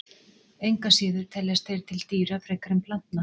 Engu að síður teljast þeir til dýra frekar en plantna.